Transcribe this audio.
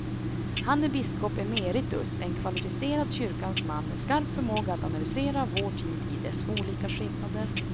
Han är biskop emeritus, en kvalificerad kyrkans man med skarp förmåga att analysera vår tid i dess olika skepnader.